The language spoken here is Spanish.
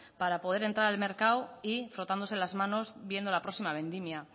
para poder entrar el mercado y frotándose las manos viendo la próxima vendimia